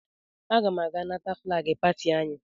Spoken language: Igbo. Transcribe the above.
Aga m aga nata flaagị pati anyị.